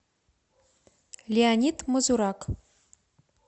леонид мазурак